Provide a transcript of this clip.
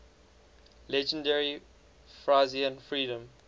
legendary frisian freedom